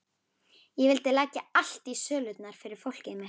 Ég vildi leggja allt í sölurnar fyrir fólkið mitt.